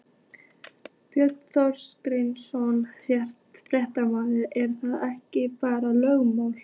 Björn Þorláksson, fréttamaður: Er það ekki bara lögreglumál?